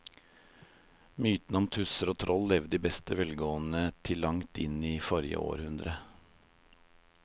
Mytene om tusser og troll levde i beste velgående til langt inn i forrige århundre.